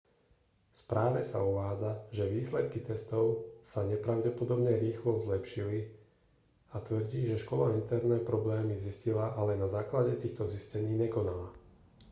v správe sa uvádza že výsledky testov sa nepravdepodobne rýchlo zlepšili a tvrdí že škola interne problémy zistila ale na základe týchto zistení nekonala